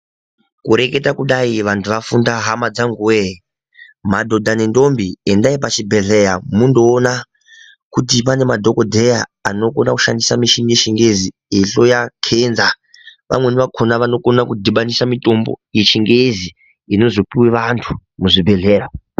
Kureketa kudai vandu vafunda hama dzangu wee madhodha ne ndombi endai pachibhedhlera mundoona kuti pane madhokodheya anokona kushandisa michini yechingezi ekuhloya kenza pamweni pakona vanokona kudhibanisa mitombo yechingezi inozopuwe vantu muzvibhedhlera.